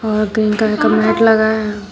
और green colour का mat लगा है।